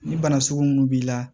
Ni bana sugu minnu b'i la